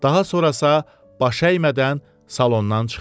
Daha sonrası baş əymədən salondan çıxdı.